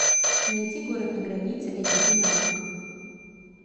найти город на границе эйч ди на окко